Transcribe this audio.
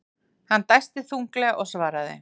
Hann dæsti þunglega og svaraði.